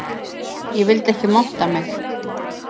Ég vildi ekki monta mig